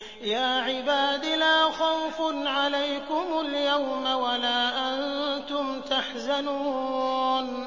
يَا عِبَادِ لَا خَوْفٌ عَلَيْكُمُ الْيَوْمَ وَلَا أَنتُمْ تَحْزَنُونَ